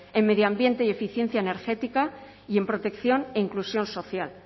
en medio ambiente y eficiencia energética y en protección e inclusión social